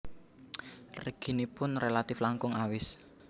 Reginipun rélatif langkung awis